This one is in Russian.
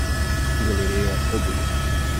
галерея обуви